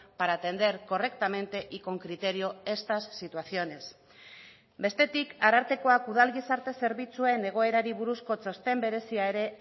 para atender correctamente y con criterio estas situaciones bestetik arartekoak udal gizarte zerbitzuen egoerari buruzko txosten berezia ere